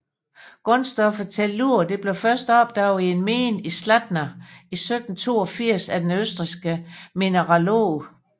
Grundstoffet Tellur blev først opdaget i en mine i Zlatna i 1782 af den østrigske mineralog